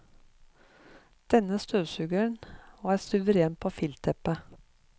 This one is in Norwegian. Denne støvsugeren var suveren på filtteppet.